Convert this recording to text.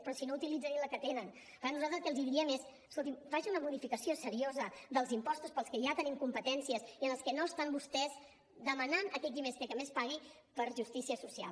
però si no utilitzen ni la que tenen per tant nosaltres el que els diríem és escolti’m faci una modificació seriosa dels impostos per als que ja tenim competències i en els que no estan vostès demanant a aquell qui més té que més pagui per justícia social